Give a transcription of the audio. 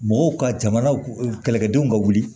Mɔgɔw ka jamana kɛlɛkɛdenw ka wuli